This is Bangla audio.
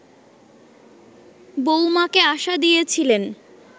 বউমাকে আশা দিয়েছিলেন